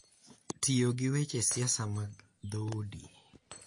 Tiyo gi weche siasa mag dhoudi